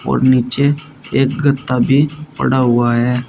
और नीचे एक गत्ता भी पड़ा हुआ है।